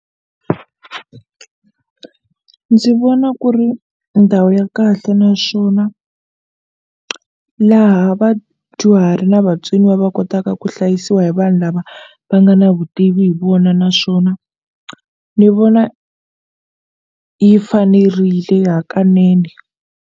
Ndzi vona ku ri ndhawu ya kahle naswona laha vadyuhari na vatsoniwa va kotaka ku hlayisiwa hi vanhu lava va nga na vutivi hi vona naswona ni vona yi fanerile hakanene.